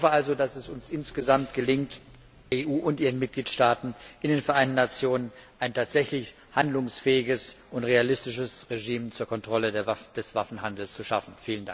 Ich hoffe also, dass es uns insgesamt gelingt, der EU und ihren Mitgliedstaaten in den Vereinten Nationen, ein tatsächlich handlungsfähiges und realistisches Regime zur Kontrolle des Waffenhandels zu schaffen.